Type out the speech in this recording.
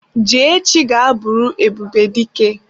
Jee echi ga buru Ebubedike!